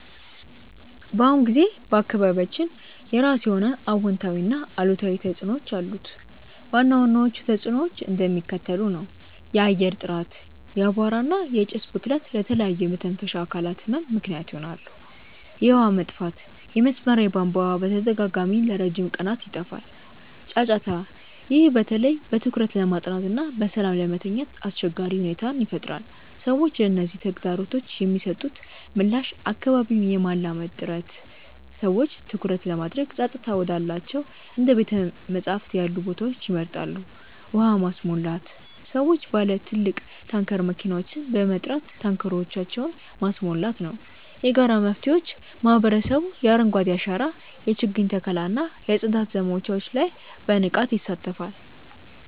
በአሁኑ ጊዜ በአካባቢያችን የራሱ የሆነ አዎንታዊና አሉታዊ ተጽዕኖዎች አሉት። ዋና ዋናዎቹ ተጽዕኖዎች እንደሚከተለው ነው፦ የአየር ጥራት፦ የአቧራ እና የጭስ ብክለት ለተለያዩ የመተንፈሻ አካላት ህመም ምክንያት ይሆናል። የውሃ መጥፋት፦ የመስመር የቧንቧ ውሃ በተደጋጋሚና ለረጅም ቀናት ይጠፋል። ጫጫታ፦ ይህ በተለይ በትኩረት ለማጥናትና በሰላም ለመተኛት አስቸጋሪ ሁኔታን ይፈጥራል። ሰዎች ለነዚህ ተግዳሮቶች የሚሰጡት ምላሽ አካባቢን የማላመድ ጥረት፦ ሰዎች ትኩረት ለማድረግ ጸጥታ ወዳላቸው እንደ ቤተ-መጻሕፍት ያሉ ቦታዎችን ይመርጣሉ። ውሃ ማስሞላት፦ ሰዎች ባለ ትልቅ ታንከር መኪናዎችን በመጥራት ታንከሮቻቸውን ማስሞላት ነው። የጋራ መፍትሄዎች፦ ማህበረሰቡ የአረንጓዴ አሻራ የችግኝ ተከላ እና የጽዳት ዘመቻዎች ላይ በንቃት ይሳተፋል።